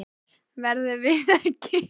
Verðum við ekki að hugsa þetta upp á nýtt?